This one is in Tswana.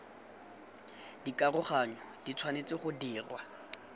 dikaroganyo di tshwanetse go dirwa